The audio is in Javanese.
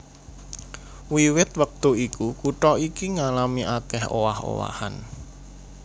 Wiwit wektu iku kutha iki ngalami akèh owah owahan